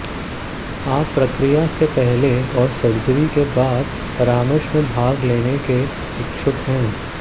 आप प्रक्रिया से पहले और सर्जरी के बाद परामर्श में भाग लेने के इच्छुक हैं